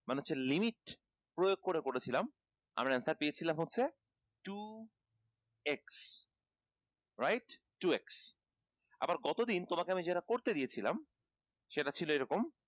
মানে হচ্ছে limit প্রয়োগ করে করেছিলাম আমরা answer পেয়েছিলাম হচ্ছে two x right two x আবার গতদিন তোমাকে আমি যেটা করতে দিয়েছিলাম সেটা ছিল এইরকম